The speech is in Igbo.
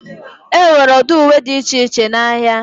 Enwere ụdị uwe dị iche iche n'ahịa.